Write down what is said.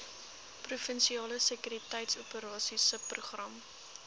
provinsiale sekuriteitsoperasies subprogram